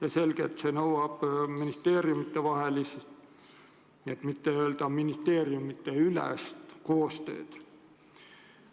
On selge, et see nõuab ministeeriumidevahelist, kui mitte ministeeriumideülest koostööd.